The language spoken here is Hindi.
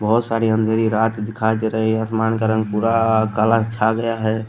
बहुत सारी अंधेरी रात दिखाई दे रही है आसमान का रंग पूरा काला छा गया है।